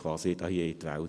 So stellen Sie das dar.